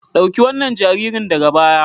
Dauki wannan jaririn daga baya.